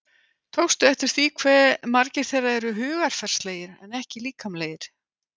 Tókstu eftir því hve margir þeirra eru hugarfarslegir en ekki líkamlegir?